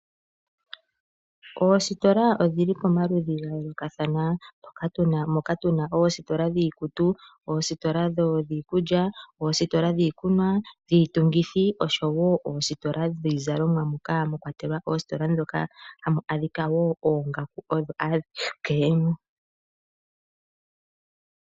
Oositola odhili pomaludhi ga yoolokathana. Moka tuna oositola dhiikutu, oositola dhiikulya, oositola dhikunwa , dhiitungithi osho woo oositola dhiizalimwa moka mwa kwatelwa oositola ndhoka hamu adhika woo oongaku odho adhike.